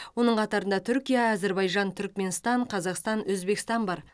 оның қатарында түркия әзербайжан түркіменстан қазақстан өзбекстан бар